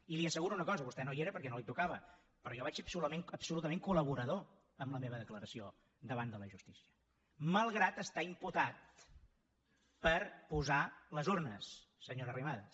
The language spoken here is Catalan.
i li asseguro una cosa vostè no hi era perquè no li tocava però jo vaig ser absolutament col·laborador amb la meva declaració davant de la justícia malgrat estar imputat per posar les urnes senyora arrimadas